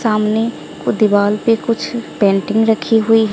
सामने को दिवाल पे कुछ पेंटिंग रखी हुई--